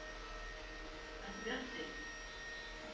Sólveig: Ertu bjartsýnn?